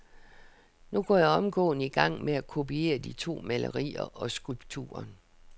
Nu går jeg omgående i gang med at kopiere de to malerier og skulpturen .